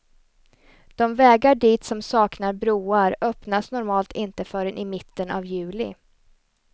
De vägar dit som saknar broar öppnas normalt inte förrän i mitten av juli.